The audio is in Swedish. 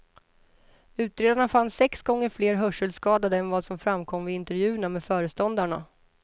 Utredarna fann sex gånger fler hörselskadade än vad som framkom vid intervjuerna med föreståndarna.